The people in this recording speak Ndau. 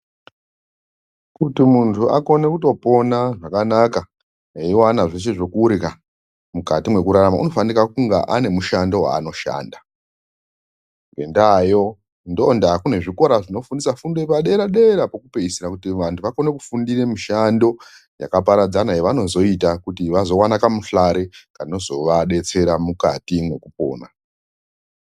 Kuti muntu akone kutopona zvakanaka eiwana zveshe zvekurya mwukati mekurarama, unofanira kunga ane mushando waanoshanda. Ngendavayo, ndondava kune zvikora zvinofundiso yepadera dera pokupedzisira kutu vantu vakone kufundira mushando yakaparadzana yavanozoita kuti vawane kamuhlare kavanozoita mukati mwekupona.